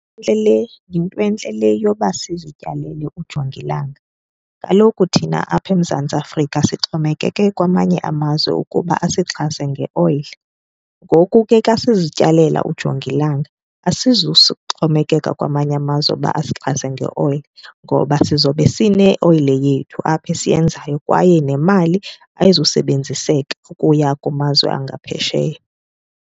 Intle le, yintwentle le yoba sizityalele ujongilanga. Kaloku thina apha eMzantsi Afrika sixhomekeke kwamanye amazwe ukuba asixhase ngeoyile. Ngoku ke xa sizityalela ujongilanga xhomekeka kwamanye amazwe uba asixhase ngeoyile ngoba sizobe sineoyile yethu apha esiyenzayo kwaye nemali ayazusebenziseka ukuya kumazwe angaphesheya.